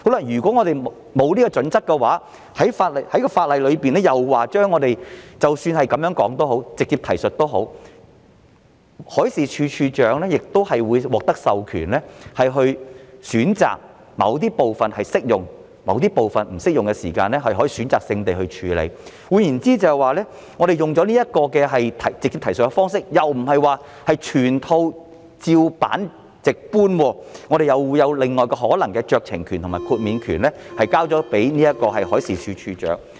如果沒有準則的話，而法例又訂明即使是直接提述，海事處處長亦會獲得授權，選擇某部分適用或不適用，可以選擇性地處理；換言之，使用直接提述的方式，意思便不是全套"照辦直搬"，又會有額外的酌情權和豁免權給予海事處處長。